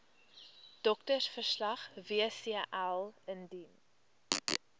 doktersverslag wcl indien